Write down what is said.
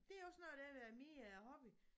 Det er også noget af det der er min hobby